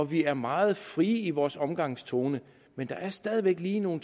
vi er meget fri i vores omgangstone men der er stadig væk lige nogle